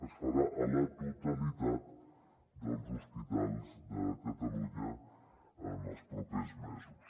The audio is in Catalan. es farà a la totalitat dels hospitals de catalunya en els propers mesos